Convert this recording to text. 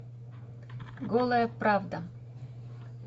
голая правда